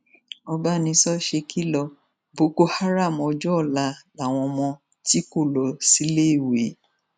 ọbánisọ ṣekìlọ boko haram ọjọ ọla làwọn ọmọ tí kò lọ síléèwé